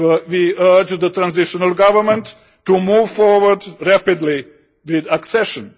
We urge the transitional government to move forward rapidly with accession.